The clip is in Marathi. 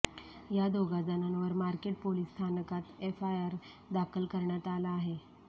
या दोघा जणांवर मार्केट पोलीस स्थानकात एफआयआर दाखल करण्यात आला आहे